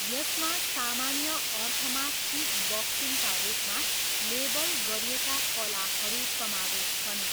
यसमा सामान्य अर्थमा किकबक्सिङका रूपमा लेबल गरिएका कलाहरू समावेश छन्।